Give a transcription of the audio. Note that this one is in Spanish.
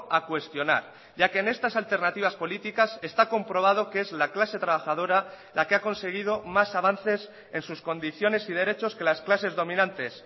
a cuestionar ya que en estas alternativas políticas está comprobado que es la clase trabajadora la que ha conseguido más avances en sus condiciones y derechos que las clases dominantes